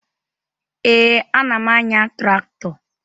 Ee, ana m anya traktọ